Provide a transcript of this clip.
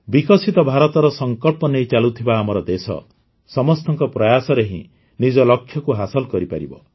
ବିକଶିତ ଭାରତର ସଂକଳ୍ପ ନେଇ ଚାଲୁଥିବା ଆମର ଦେଶ ସମସ୍ତଙ୍କ ପ୍ରୟାସରେ ହିଁ ନିଜ ଲକ୍ଷ୍ୟକୁ ହାସଲ କରିପାରିବ